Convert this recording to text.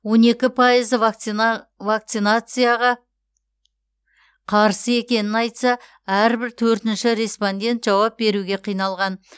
он екі пайызы вакцинацияға қарсы екенін айтса әрбір төртінші респондент жауап беруге қиналған